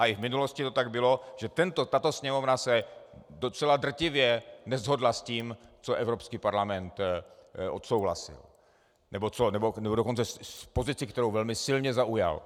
A i v minulosti to tak bylo, že tato Sněmovna se docela drtivě neshodla s tím, co Evropský parlament odsouhlasil, nebo dokonce s pozicí, kterou velmi silně zaujal.